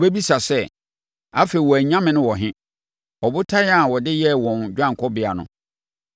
Ɔbɛbisa sɛ, “Afei wɔn anyame no wɔ he, ɔbotan a wɔde yɛɛ wɔn dwanekɔbea no,